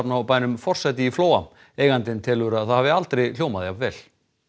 á bænum forsæti í Flóa eigandinn telur að það hafi aldrei hljómað jafn vel